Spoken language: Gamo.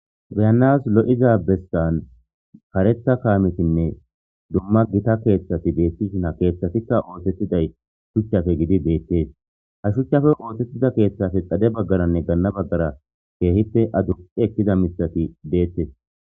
beyanas lo7iza bestan karetha kaametinne dumma gita keeththati deettishina keeththatikka ootettiday shuchchafe gidi deettees ha shuchchafe ootettida keeththafe xade baggaranne ganna baggara keehipe adu ekkida misati deettes